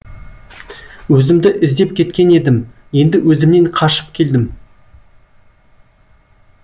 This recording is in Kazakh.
өзімді іздеп кеткен едім енді өзімнен қашып келдім